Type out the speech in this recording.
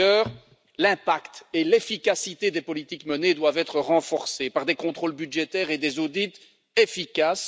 Par ailleurs, l'impact et l'efficacité des politiques menées doivent être renforcés par des contrôles budgétaires et des audits efficaces.